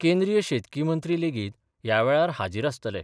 केंद्रिय शेतकी मंत्री लेगीत या वेळार हाजीर आसतले.